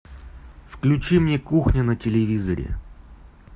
включи мне кухня на телевизоре